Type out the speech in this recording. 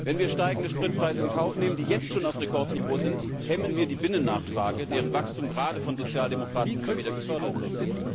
Wenn wir steigende Spritpreise in Kauf nehmen, die jetzt schon auf Rekordniveau sind, hemmen wir die Binnennachfrage, deren Wachstum gerade von Sozialdemokraten immer wieder gefordert wird.